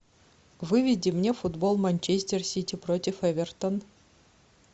выведи мне футбол манчестер сити против эвертон